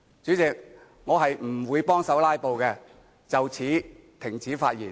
主席，我不會協助"拉布"，就此停止發言。